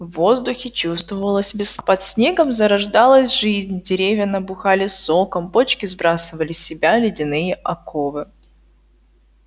в воздухе чувствовалась весна под снегом зарождалась жизнь деревья набухали соком почки сбрасывали с себя ледяные оковы